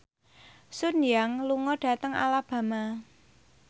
Sun Yang lunga dhateng Alabama